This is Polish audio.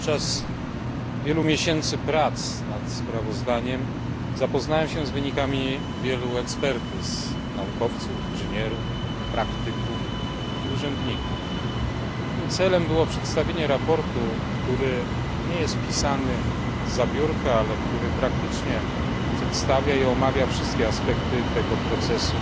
Podczas wielu miesięcy prac nad sprawozdaniem zapoznałem się z wynikami wielu ekspertyz naukowców, inżynierów, praktyków i urzędników. Moim celem było przedstawienie sprawozdania, które nie jest pisane zza biurka, ale które praktycznie przedstawia i omawia wszystkie aspekty procesu